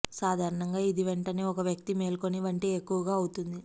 సాధారణంగా ఇది వెంటనే ఒక వ్యక్తి మేల్కొని వంటి ఎక్కువగా అవుతుంది